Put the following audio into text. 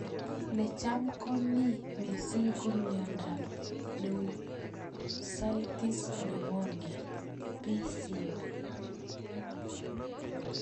Ne cham ko mi mising ko miondop pnemoucystis pnemonia(PCP).